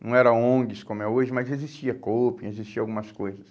Não eram ONGs como é hoje, mas existia existiam algumas coisas.